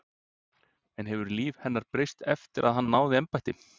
En hefur líf hennar breyst eftir að hann náði embætti?